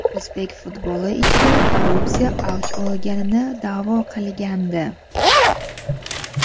o‘zbek futboli ichida korrupsiya avj olganini da’vo qilgandi.